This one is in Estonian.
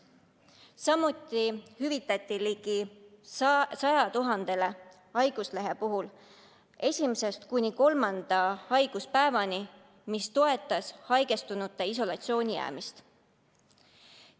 Ligi 100 000 inimesele hüvitati haiguslehe puhul saamata jäänud palk esimesest kuni kolmanda haiguspäevani, mis toetas haigestunute isolatsiooni jäämist.